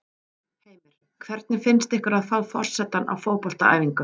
Heimir: Hvernig finnst ykkur að fá forsetann á fótboltaæfingu?